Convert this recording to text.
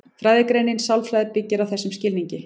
Fræðigreinin sálfræði byggist á þessum skilningi.